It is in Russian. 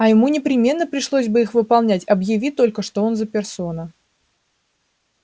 а ему непременно пришлось бы их выполнять объяви только что он за персона